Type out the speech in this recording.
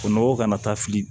O nɔgɔ kana taa fili